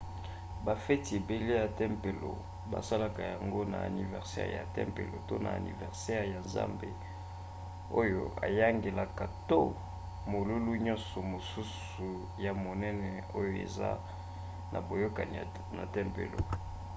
bafeti ebele ya tempelo basalaka yango na aniversere ya tempelo to na aniversere ya nzambe oyo ayangelaka to na molulu nyonso mosusu ya monene oyo eza na boyokani na tempelo